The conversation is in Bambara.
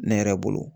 Ne yɛrɛ bolo